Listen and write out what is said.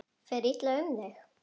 Fer illa um þig?